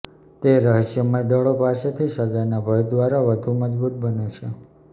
તે રહસ્યમય દળો પાસેથી સજાના ભય દ્વારા વધુ મજબૂત બને છે